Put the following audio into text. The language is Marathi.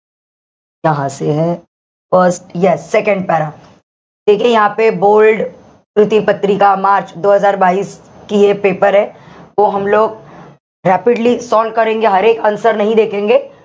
first yes second para bold paper rapidly solve answer .